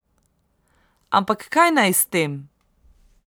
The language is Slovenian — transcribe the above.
Ampak kaj naj s tem?